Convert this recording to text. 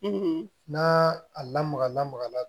n'a a lamaga lamagala